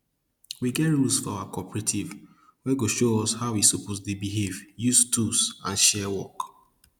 we get rules for our cooperative wey go show us how we suppose dey behave use tools and share work